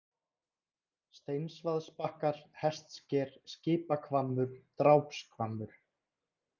Steinsvaðsbakkar, Hestsker, Skipahvammur, Drápshvammur